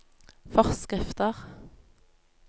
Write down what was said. forskrifter